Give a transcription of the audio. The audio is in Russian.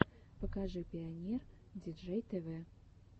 покажи пионер диджей тэвэ